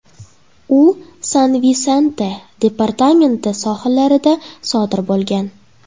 U San-Visente departamenti sohillarida sodir bo‘lgan.